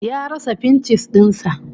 Ya rasa fincis din sa